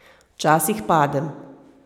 Včasih padem.